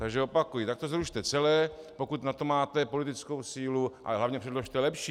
Takže opakuji, tak to zrušte celé, pokud na to máte politickou sílu, ale hlavně předložte lepší.